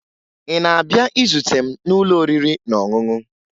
Ị na-abịa izute m n'ụlọ oriri na ọṅụṅụ?